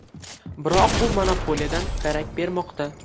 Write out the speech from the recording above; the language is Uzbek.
Biroq bu monopoliyadan darak bermoqda.